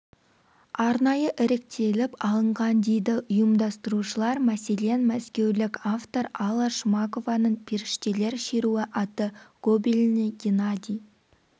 арнайы іріктеліп алынған дейді ұйымдастырушылар мәселен мәскеулік автор алла шмакованың періштелер шеруі атты гобелені геннадий